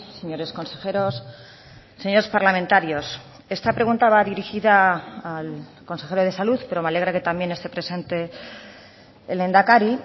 señores consejeros señores parlamentarios esta pregunta va dirigida al consejero de salud pero me alegra que también esté presente el lehendakari